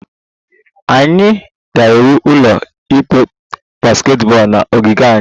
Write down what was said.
Anyị ga-ewu ụlọ ikpe basketball na ogige anyị